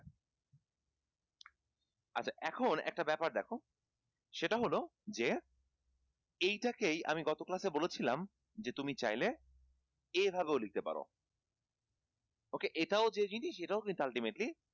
আচ্ছা এখন একটা ব্যাপার দেখো সেটা হলো যে এইটাকেই আমি গত class এ বলেছিলাম যে তুমি চাইলে এইভাবেও লিখতে পারো okay এটাও যে জিনিস এটাও কিন্তু ultimately